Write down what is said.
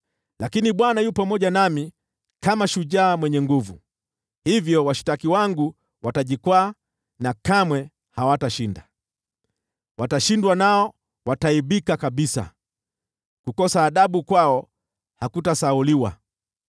Lakini Bwana yu pamoja nami kama shujaa mwenye nguvu; hivyo washtaki wangu watajikwaa na kamwe hawatashinda. Watashindwa, nao wataaibika kabisa; kukosa adabu kwao hakutasahauliwa.